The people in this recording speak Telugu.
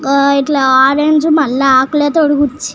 ఇట్లా ఆరంజ్ మల్ల ఆకుల తో గుచ్చి--